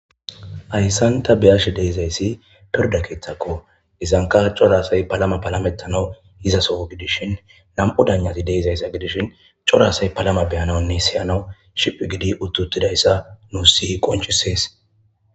Hayssan ta biyash deizayssi pirda keeththakko izanka corasay palama palametanau izaso gidishin lam'u danjati deizayssa gidishin corasay palama beyananne siyanawu ship gidi uttutidayssa nu siyi qonchisees.